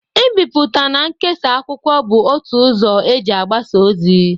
Ibipụta na nkesa akwụkwọ bụ otu ụzọ e ji abasa ozi.